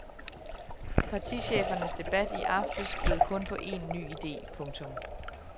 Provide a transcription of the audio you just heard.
Partichefernes debat i aftes bød kun på én ny idé. punktum